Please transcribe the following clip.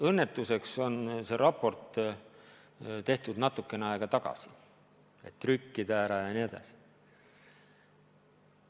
Õnnetuseks on see raport tehtud natukene aega tagasi, et saaks ära trükkida, ja nii edasi.